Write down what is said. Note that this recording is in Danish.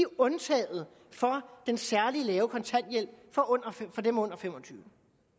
undtaget fra den særlig lave kontanthjælp for dem under fem og tyve